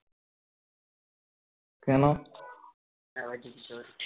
কেন